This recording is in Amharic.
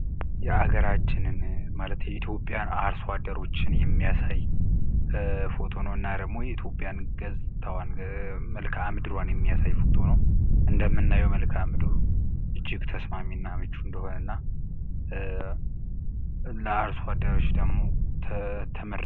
የአገራችንን ማለት የኢትዮጵያን አርሶአደሮችን የሚያሳይ ፎቶ ነው እና ደግሞ የኢትዮጵያን ገጽታዋን መልከአምድሯን የሚያሳይ ፎቶ ነው እንደምናየው መልክአምድሩ እጅግ ተስማሚ እና መቹ እንደሆነ እና ለአርስዋደሮች ደግሞ ትምህርት